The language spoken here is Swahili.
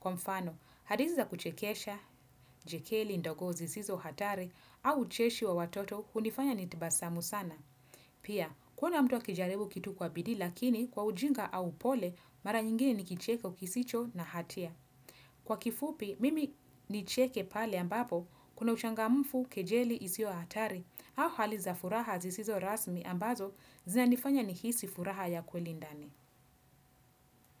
Kwa mfano, hadithi za kuchekesha, jekeli ndogo zisizo hatari au ucheshi wa watoto hunifanya nitabasamu sana. Pia, kuona mtu akijaribu kitu kwa bidii lakini kwa ujinga au upole mara nyingine ni kicheke kisicho na hatia. Kwa kifupi, mimi nicheke pale ambapo kuna uchangamfu kejeli isio hatari au hali za furaha zisizo rasmi ambazo zinanifanya nihisi furaha ya kweli ndani.